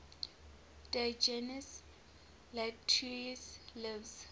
diogenes laertius's lives